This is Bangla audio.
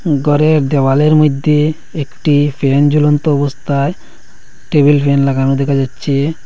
ঘরের দেওয়ালের মইধ্যে একটি ফ্যান ঝুলন্ত অবস্থায় টেবিল ফ্যান লাগানো দেখা যাচ্ছে।